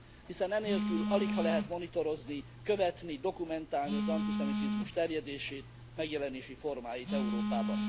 Hiszen enélkül aligha lehet monitorozni, követni, dokumentálni az antiszemitizmus terjedését, megjelenési formáit Európában.